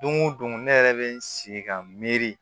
Don o don ne yɛrɛ bɛ n sigi ka miiri